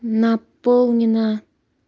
наполнено